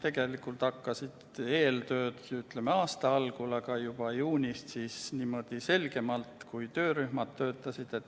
Eeltööd hakkasid pihta aasta algul ja juba juunist alustasid töörühmad.